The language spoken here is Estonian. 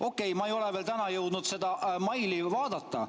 Okei, ma ei ole veel täna jõudnud seda meili vaadata.